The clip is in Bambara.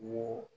N ko